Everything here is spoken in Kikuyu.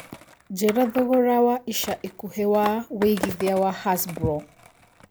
njĩira thogora wa ĩca ĩkũhĩ wa wĩigĩthĩa wa hasbro